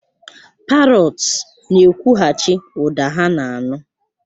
Parọts na-ekwughachi ụda ha na-anụ.